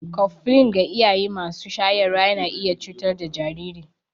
Koflin ga iyaye masu shayarwa yana iya cutar da jariri.